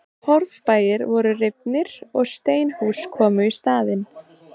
Torfbæir voru rifnir og steinhús komu í staðinn.